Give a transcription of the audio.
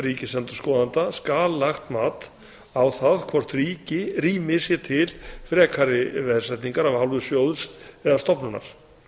ríkisendurskoðanda skal lagt mat á það hvort rými sé til frekari veðsetningar af hálfu sjóðs eða stofnunar